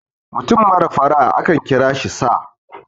mutum mara fara' a akan kira shi sa